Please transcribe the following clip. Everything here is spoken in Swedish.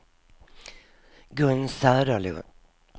Gun Söderlund